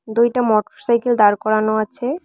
দুইটা মটোরসাইকেল দাঁড় করানো আছে।